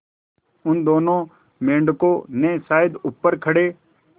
उन दोनों मेढकों ने शायद ऊपर खड़े